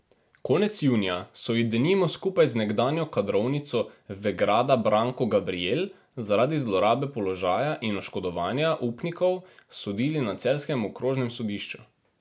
Konec junija so ji denimo skupaj z nekdanjo kadrovnico Vegrada Branko Gabrijel zaradi zlorabe položaja in oškodovanja upnikov sodili na celjskem okrožnem sodišču.